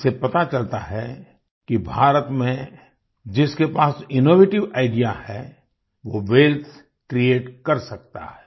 इससे पता चलता है कि भारत में जिसके पास इनोवेटिव आईडीईए है वो वेल्थ क्रिएट कर सकता है